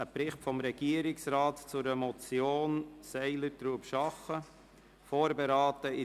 Das ist ein Bericht des Regierungsrats zur Motion Seiler Trubschachen, Grüne, die von der GSoK vorberaten worden ist.